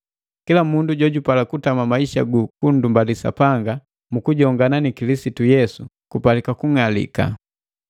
Kila mundu jojupala kutama maisa gu kunndumbali Sapanga mukujongana ni kilisitu Yesu kupalika kung'alika.